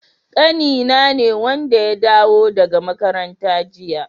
Ƙanina ne wanda ya dawo daga makaranta jiya.